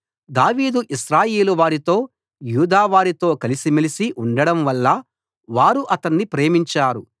దావీదు ఇశ్రాయేలువారితో యూదావారితో కలిసిమెలిసి ఉండడంవల్ల వారు అతణ్ణి ప్రేమించారు